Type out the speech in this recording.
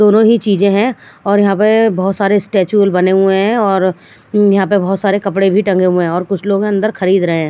दोनों ही चीजे है और यहाँ पे बहत सारे स्टैचुल बने हुए है और यहाँ पे बहत सारे कपड़े भी टंगे हुए है और कुछ लोग है अंदर खरीद रहे है।